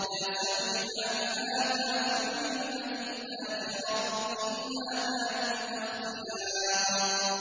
مَا سَمِعْنَا بِهَٰذَا فِي الْمِلَّةِ الْآخِرَةِ إِنْ هَٰذَا إِلَّا اخْتِلَاقٌ